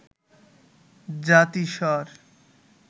জাতিস্বর